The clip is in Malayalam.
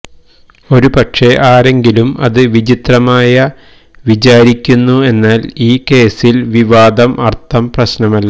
ഒരുപക്ഷേ ആരെങ്കിലും അത് വിചിത്രമായ വിചാരിക്കുന്നു എന്നാൽ ഈ കേസിൽ വിവാദം അർത്ഥം പ്രശ്നമല്ല